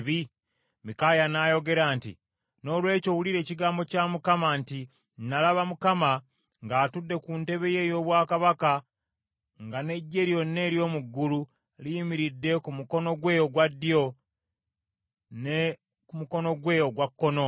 Mikaaya n’ayogera nti, “Noolwekyo wulira ekigambo kya Mukama nti: Nalaba Mukama ng’atudde ku ntebe ye ey’obwakabaka nga n’eggye lyonna ery’omu ggulu liyimiridde ku mukono gwe ogwa ddyo ne mukono gwe ogwa kkono.